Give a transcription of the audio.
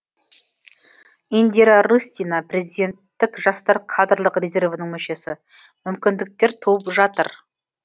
индира рыстина президенттік жастар кадрлық резервінің мүшесі мүмкіндіктер туып жатыр